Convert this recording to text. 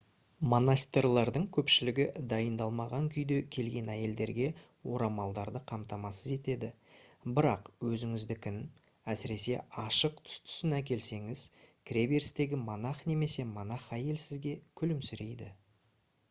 монастырьлардың көпшілігі дайындалмаған күйде келген әйелдерге орамаларды қамтамасыз етеді бірақ өзіңіздікін әсіресе ашық түстісін әкелсеңіз кіреберістегі монах немесе монах әйел сізге күлімсірейді